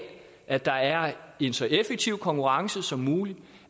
at der er en så effektiv konkurrence som muligt